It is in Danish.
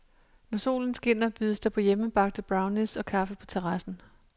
Når solen skinner bydes der på hjemmebagte brownies og kaffe på terrassen.